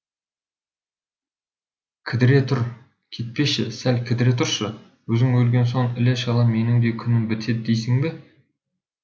кідіре тұр кетпеші сәл кідіре тұршы өзің өлген соң іле шала менің де күнім бітеді дейсің бе